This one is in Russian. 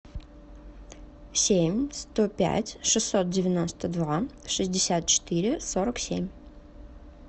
семь сто пять шестьсот девяносто два шестьдесят четыре сорок семь